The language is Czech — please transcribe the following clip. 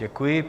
Děkuji.